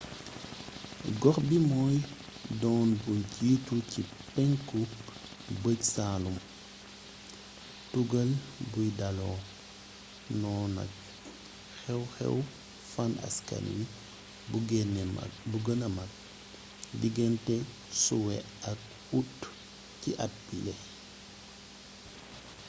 gox bi moy doon bu jittu ci penku bëj-saalum tugal buy daalo wonenag xew-xew fàan askan wi bu gene magg digante suwe ak ut ci at biile